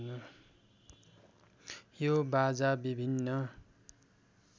यो बाजा विभिन्न